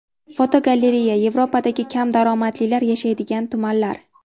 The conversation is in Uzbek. Fotogalereya: Yevropadagi kam daromadlilar yashaydigan tumanlar.